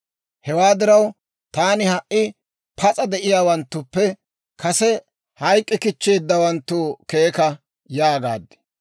Hewaa diraw, taani, «Ha"i pas'a de'iyaawanttuppe kase hayk'k'i kichcheeddawanttu keeka» yaagaad.